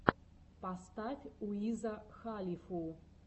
поставь уиза халифу